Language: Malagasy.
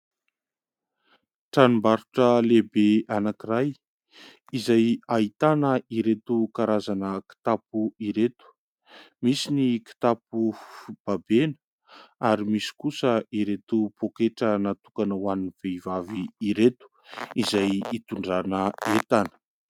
Tranombarotra lehibe anankiray, izay ahitana ireto karazana kitapo ireto : misy ny kitapo babena, ary misy kosa ireto poketra natokana ho an'ny vehivavy ireto, izay itondrana entana.